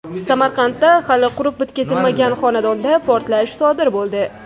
Samarqandda hali qurib bitkazilmagan xonadonda portlash sodir bo‘ldi.